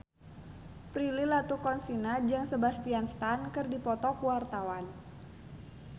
Prilly Latuconsina jeung Sebastian Stan keur dipoto ku wartawan